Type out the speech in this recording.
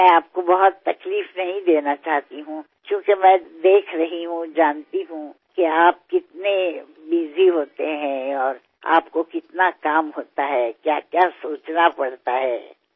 मी तुम्हाला फार त्रास देऊ इच्छित नाही कारण मी पाहते आहे मला कल्पना आहे की तुम्ही किती कामात असता आणि तुम्हालाभरपूर काम असते किती गोष्टींचा विचार करावा लागतो